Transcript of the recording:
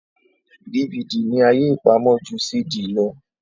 DVD ní àyè ipàmò jù CD ló.